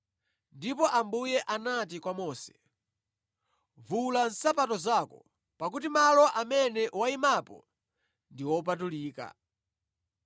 “Ndipo Ambuye anati kwa Mose, ‘Vula nsapato zako, pakuti malo amene wayimapo ndi opatulika.